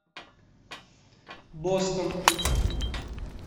бостон